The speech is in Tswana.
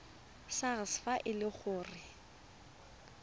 sars fa e le gore